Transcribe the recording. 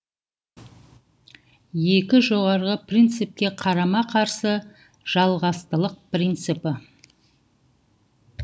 екі жоғарғы принципке қарама қарсы жалғастылық принципі